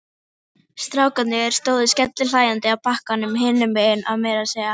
Full ástæða er til að viðurkenna og samþykkja ástarsambönd samkynhneigðra sem jafnrétthá öðrum ástarsamböndum.